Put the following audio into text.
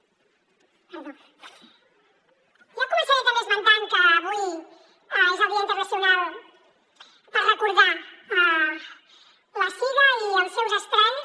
jo començaré també esmentant que avui és el dia internacional per recordar la sida i els seus estralls